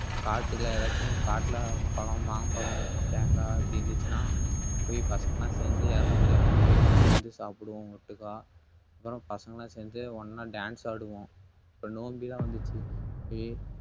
காட்டுல எதாச்சும் காட்டுல பழம் மாம்பழம் தேங்காய் இப்படி இருந்துச்சுன்னா போய் பசங்களாம் சேர்ந்து யாருக்கும் தெரியாம போய் பறிச்சிட்டு வந்து சாப்பிடுவோம் ஒட்டுக்கா. அப்புறம் பசங்க எல்லாம் சேர்ந்து ஒண்ணா dance ஆடுவோம். அப்பறம் நோன்பி எல்லாம் வந்துச்சு சுத்தி